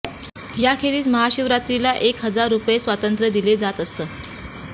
याखेरीज महाशिवरात्रीला एक हजार रुपये स्वतंत्र दिले जात असत